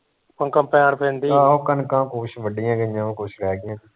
ਆਹੋ ਕਣਕਾਂ ਕੁਸ਼ ਵੱਢੀਆ ਗਈਆ ਕੁਸ਼ ਰਹਿ ਗਈਆ